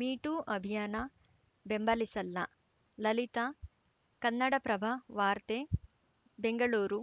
me too ಅಭಿಯಾನ ಬೆಂಬಲಿಸಲ್ಲ ಲಲಿತಾ ಕನ್ನಡಪ್ರಭ ವಾರ್ತೆ ಬೆಂಗಳೂರು